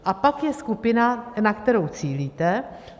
A pak je skupina, na kterou cílíte.